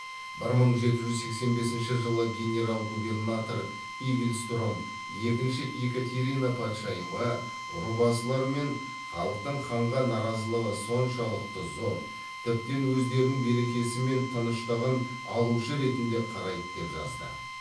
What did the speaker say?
бір мың жеті жүз сексен бесінші жылы генерал губернатор игельстром екінші екатерина патшайымға рубасылары мен халықтың ханға наразылығы соншалықты зор тіптен өздерінің берекесі мен тыныштығын алушы ретінде қарайды деп жазды